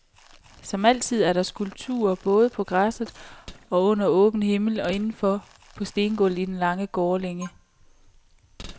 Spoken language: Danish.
Som altid er der skulpturer både på græsset, under åben himmel, og inden for på stengulvet i den lange gårdlænge.